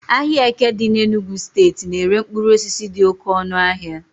ahịa eke dị n'Enugwu steeti na-ere mkpụrụ osisi dị oke ọnụahịa